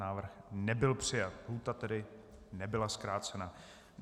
Návrh nebyl přijat, lhůta tedy nebyla zkrácena.